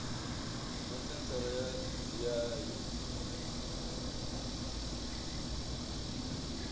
na senthara ya dti ya